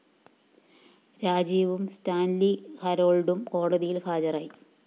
രാജീവും Stanley ഹരോള്‍ഡും കോടതിയില്‍ ഹാജരായി